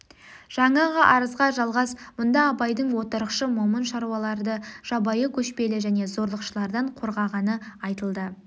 жаңағы арызға жалғас мұнда абайдың отырықшы момын шаруаларды жабайы көшпелі және зорлықшылардан қорғағаны айтылды